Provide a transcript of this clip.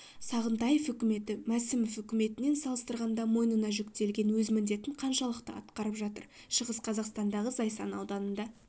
сағынтаев үкіметі мәсімов үкіметімен салыстырғанда мойнына жүктелген өз міндетін қаншалықты атқарып жатыр шығыс қазақстандағы зайсан ауданында